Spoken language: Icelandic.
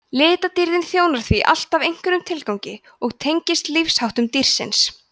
litadýrðin þjónar því alltaf einhverjum tilgangi og tengist lífsháttum dýrsins